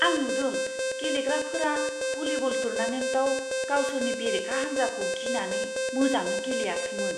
आं नुदों गेलेग्राफोरा भलिब'ल टुर्नामेन्टआव गावसोरनि बेरेखा हानजाखौ गिनानै मोजाङै गेलेयाखैमोन।